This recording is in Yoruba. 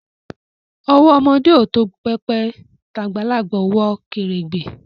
Owo omode o to pepe, t'agbalagba o wo keregbe